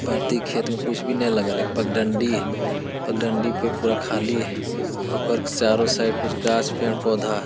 परती खेत में कुछ भी नई लगल है पकडंडी है पकडंडी पर खाली है ओकर चारों साइड कुछ गाछ पेड़ पौधा है।